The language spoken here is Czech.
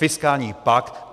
Fiskální pakt.